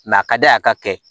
a ka d'a ye a ka kɛ